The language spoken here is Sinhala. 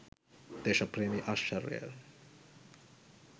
දේශප්‍රේමී ආශ්චර්ය